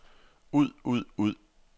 ud ud ud